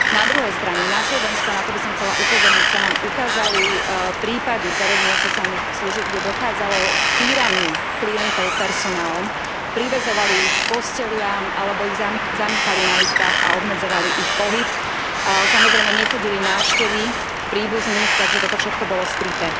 Na druhej strane, na Slovensku, a na to by som chcela upozorniť, sa nám ukázali prípady v zariadeniach sociálnych služieb, kde dochádzalo k týraniu klientov personálom, priväzovali ich k posteliam alebo ich zamykali na izbách a obmedzovali ich pohyb. Samozrejme nechodili návštevy, príbuzní, takže toto všetko bolo skryté.